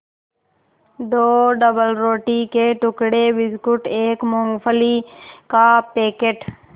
दो डबलरोटी के टुकड़े बिस्कुट एक मूँगफली का पैकेट